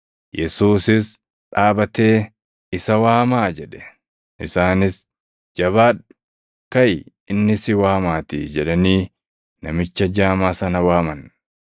Yesuusis dhaabatee, “Isa waamaa” jedhe. Isaanis, “Jabaadhu! Kaʼi inni si waamaatii” jedhanii namicha jaamaa sana waaman.